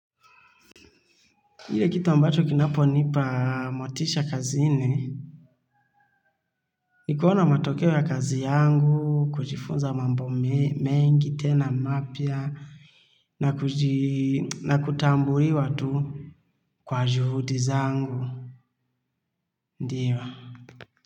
Ile kitu ambacho kinapo nipa motisha kazini, ni kuona matokeo ya kazi yangu, kujifunza mambo mengi, tena mapya, na kutambuliwa tu kwa juhudi zangu, ndio.